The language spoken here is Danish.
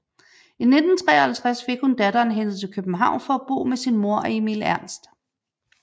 I 1953 fik hun datteren hentet til København for at bo sammen med sin mor og Emil Ernst